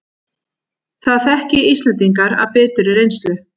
Það þekki Íslendingar af biturri reynslu